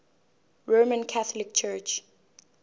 roman catholic church